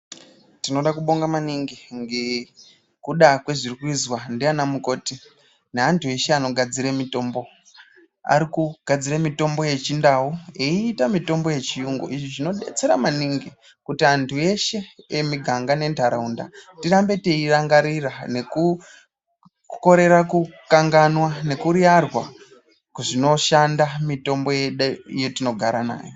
Tinoda kubonga maningi ngekuda kwe zviri kuzwa ndiana mukoti ne antu eshe ano gadzire mitombo ari kugadzire mitombo ye chindau eyiita mitombo ye chiyungu izvi zvino detsera maningi kuti antu eshe emu ganga ne ndaraunda tirambe tei rangarira neku korera ku kanganganwa neku riyarwa zvino shanda mitombo yedu yetino gara nayo.